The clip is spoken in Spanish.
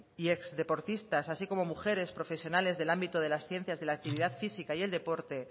y exdeportistas así como mujeres profesionales del ámbito de las ciencias de la actividad física y el deporte